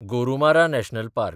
Gorumara national park